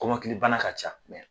KɔmɔkiLI bana ka ca